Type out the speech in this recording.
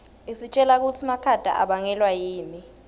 isitjela kutsi makhata abangelwa yini